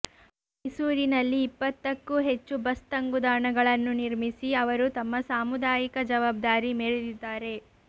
ಮೈಸೂರಿನಲ್ಲಿ ಇಪ್ಪತ್ತಕ್ಕೂ ಹೆಚ್ಚು ಬಸ್ ತಂಗುದಾಣಗಳನ್ನು ನಿರ್ಮಿಸಿ ಅವರು ತಮ್ಮ ಸಾಮುದಾಯಿಕ ಜವಾಬ್ದಾರಿ ಮೆರೆದಿದ್ದಾರೆ